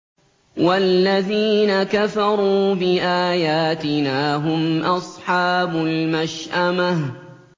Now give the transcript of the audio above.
وَالَّذِينَ كَفَرُوا بِآيَاتِنَا هُمْ أَصْحَابُ الْمَشْأَمَةِ